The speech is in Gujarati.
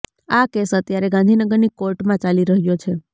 આ કેસ અત્યારે ગાંધીનગરની કોર્ટમાં ચાલી રહ્યો છે